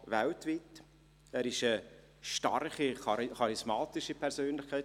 Er ist eine starke, charismatische Persönlichkeit.